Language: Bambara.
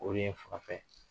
O de ye n furakɛ.